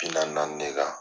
Bila nani de ka